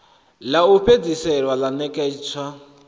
ḽa u fhedzisela ḽa ṋetshedzo